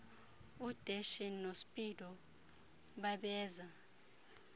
udeshy nospeedo babeza